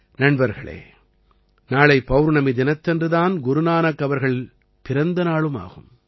நண்பர்களே நாளை பௌர்ணமி தினத்தன்று தான் குரு நானக் அவர்கள் பிறந்த நாளும் ஆகும்